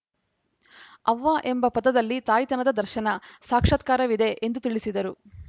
ಅವ್ವ ಎಂಬ ಪದದಲ್ಲಿ ತಾಯ್ತತನದ ದರ್ಶನ ಸಾಕ್ಷಾತ್ಕಾರವಿದೆ ಎಂದು ತಿಳಿಸಿದರು